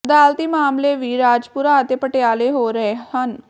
ਅਦਾਲਤੀ ਮਾਮਲੇ ਵੀ ਰਾਜਪੁਰਾ ਅਤੇ ਪਟਿਆਲੇ ਹੋ ਰਹੇ ਹਨ